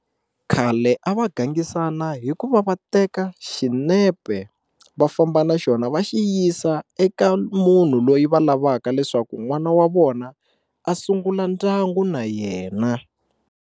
Khale a va gangisana hi ku va va teka xinepe va famba na xona va xi yisa eka munhu loyi va lavaka leswaku n'wana wa vona a sungula ndyangu na yena.